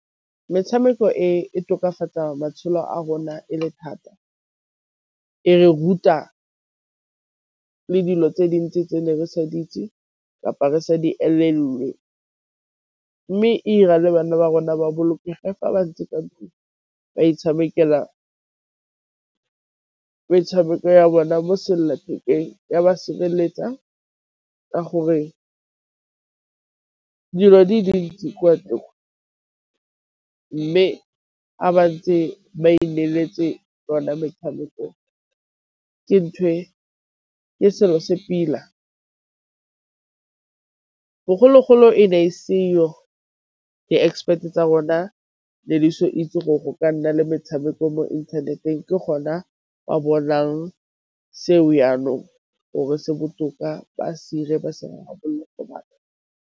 Metshameko e tokafatsa matshelo a rona e le thata, e re ruta le dilo tse dintsi tse ne re sa di itse kapa re sa di , mme e 'ira le bana ba rona ba bolokege fa ba ntse ntlong ba itshamekela metshameko ya bona mo sellathekeng ya ba sireletsa ka gore dilo di dintsi kwa , mme a ba ntse ba ineletse yona metshameko ke selo se pila. Bogologolo e ne e seyo di-expect-e tsa rona le itse gore go ka nna le metshameko mo inthaneteng, ke gona ba bonang seo jaanong gore se botoka ba se 'ire ba se .